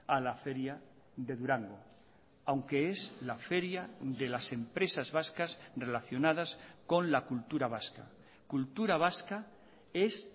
a la feria de durango aunque es la feria de las empresas vascas relacionadas con la cultura vasca cultura vasca es